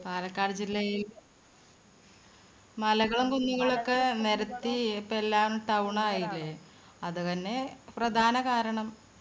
പാലക്കാട് ജില്ലയിൽ മലകളും ഒക്കെ നേരത്തി ഇപ്പൊ എല്ലാം town ആയില്ലേ. അത് തന്നെ പ്രധാന കാരണം.